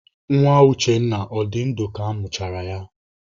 Nwa Uchenna ọ dị ndụ ka amụchara ya?